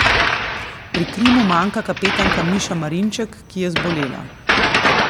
Pri Krimu manjka kapetanka Miša Marinček, ki je zbolela.